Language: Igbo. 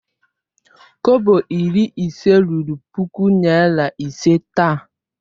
Kobo iri ise ruru puku naira ise taa.